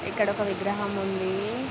ఇక్కడొక విగ్రహం ఉందీ.